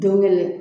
Don kelen